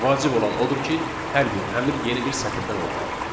Vacib olan odur ki, hər bir əmr yeni bir sətirdən olmalıdır.